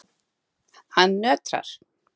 Hann nötrar.